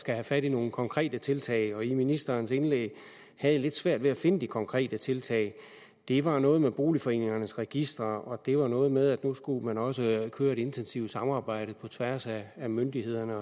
have fat i nogle konkrete tiltag og i ministerens indlæg havde jeg lidt svært ved at finde de konkrete tiltag det var noget med boligforeningernes registre og det var noget med at nu skulle man også køre et intensivt samarbejde på tværs af myndighederne